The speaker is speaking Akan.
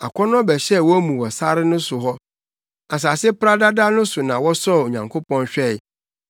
Akɔnnɔ bɛhyɛɛ wɔn mu wɔ sare so hɔ, asase paradada no so na wɔsɔɔ Onyankopɔn hwɛe,